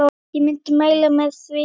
Ég myndi mæla með því.